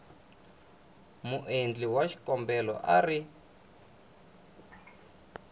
muendli wa xikombelo a ri